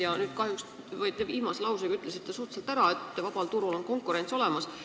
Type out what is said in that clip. Te nüüd viimase lausega ütlesite ära, et vabal turul on konkurents olemas.